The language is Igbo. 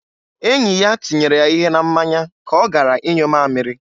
Enyi ya tinyere ya ihe na mmanya ka ọ gara ịnyụ mamịrị.